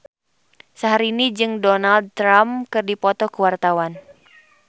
Syahrini jeung Donald Trump keur dipoto ku wartawan